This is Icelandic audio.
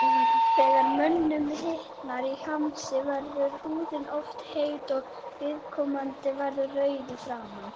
Þegar mönnum hitnar í hamsi verður húðin oft heit og viðkomandi verður rauður í framan.